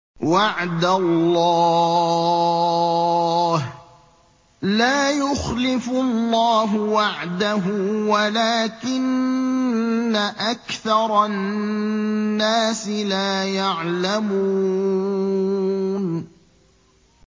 وَعْدَ اللَّهِ ۖ لَا يُخْلِفُ اللَّهُ وَعْدَهُ وَلَٰكِنَّ أَكْثَرَ النَّاسِ لَا يَعْلَمُونَ